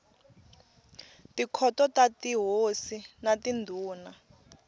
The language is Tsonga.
tikhoto ta tihosi na tindhuna